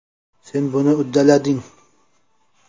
Sen buni uddalading.